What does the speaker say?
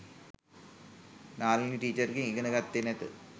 නාලනී ටීචර්ගෙන් ඉගෙන ගත්තේ නැත.